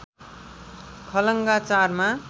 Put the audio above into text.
खलङ्गा ४ मा